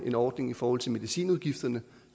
en ordning i forhold til medicinudgifterne